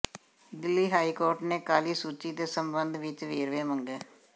Delhi high court ਨੇ ਕਾਲੀ ਸੂਚੀ ਦੇ ਸਬੰਧ ਵਿਚ ਵੇਰਵੇ ਮੰਗੇ